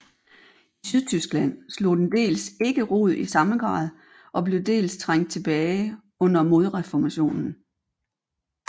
I Sydtyskland slog den dels ikke rod i samme grad og blev dels trængt tilbage under modreformationen